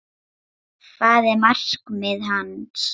Hvað var markmið hans?